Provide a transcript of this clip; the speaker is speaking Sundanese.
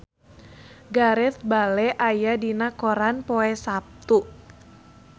Gareth Bale aya dina koran poe Saptu